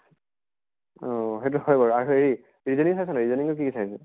অʼ সেইতো হয় বাৰু । আৰু এই reasoning চাইছা নে নাই ?reasoning কি চাই নো ?